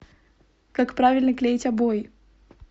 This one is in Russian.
как правильно клеить обои